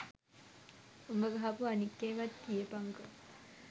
උබ ගහපු අනික් ඒවත් කියපන්කො